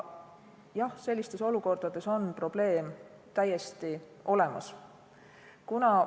Jah, sellistes olukordades on probleem täiesti olemas.